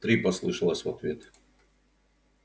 три послышалось в ответ